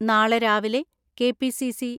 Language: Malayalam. നാളെ രാവിലെ കെ.പി.സി.സി.